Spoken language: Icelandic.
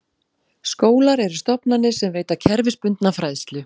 Skólar eru stofnanir sem veita kerfisbundna fræðslu.